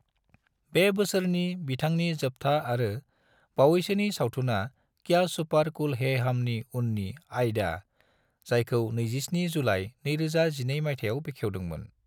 बे बोसोरनि बिथांनि जोबथा आरो बावैसोनि सावथुना क्या सुपर कूल है हमनि उननि आइदा, जायखौ 27 जुलाइ 2012 माइथायाव बेखेवदों मोन ।